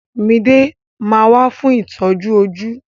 Mide ma wà fún itọju ojú.